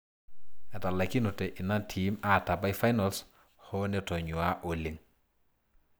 Etalaikinote ina tiim aatabai finals hoo netonyuaa oleng.